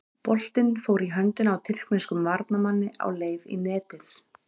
Boltinn fór í höndina á tyrkneskum varnarmanni á leið í netið.